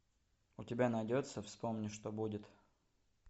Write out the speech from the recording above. у тебя найдется вспомни что будет